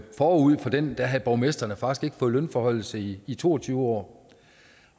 forud for den havde borgmestrene faktisk ikke fået lønforhøjelse i i to og tyve år